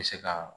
Bɛ se ka